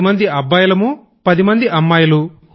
పది మంది అబ్బాయిలం పది మంది అమ్మాయిలు